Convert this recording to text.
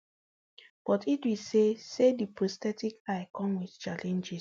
but idris say say di prosthetic eye come wit challenges